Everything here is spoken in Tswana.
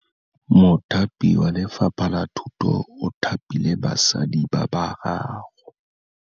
Mothapi wa Lefapha la Thutô o thapile basadi ba ba raro.